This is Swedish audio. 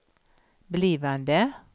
blivande